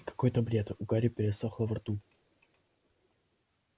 какой-то бред у гарри пересохло во рту